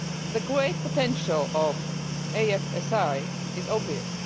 The great potential of EFSI is obvious.